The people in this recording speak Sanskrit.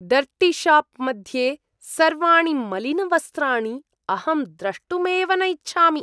डर्टीशाप् मध्ये सर्वाणि मलिनवस्त्राणि अहं द्रष्टुमेव न इच्छामि।